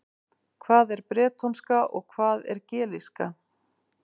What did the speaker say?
Hvað er bretónska og hvað er gelíska?